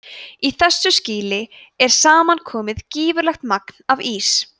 í þessu skýi er saman komið gífurlegt magn af ís